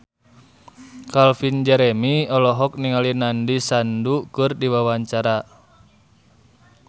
Calvin Jeremy olohok ningali Nandish Sandhu keur diwawancara